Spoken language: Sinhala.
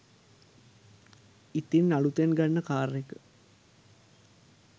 ඉතින් අලුතෙන් ගන්න කාර් එක